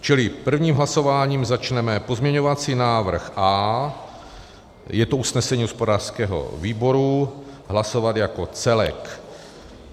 Čili prvním hlasováním začneme pozměňovací návrh A, je to usnesení hospodářského výboru, hlasovat jako celek.